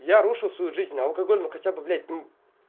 я рушу свою жизнь алкоголь но хотя бы блять